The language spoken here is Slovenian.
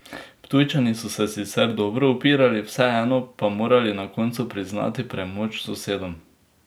Ptujčani so se sicer dobro upirali, vseeno pa morali na koncu priznati premoč sosedom.